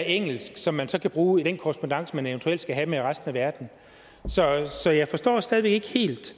engelsk som man så kan bruge i den korrespondance man eventuelt skal have med resten af verden så så jeg forstår stadig væk ikke helt